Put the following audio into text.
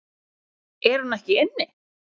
Er hún ekki inni?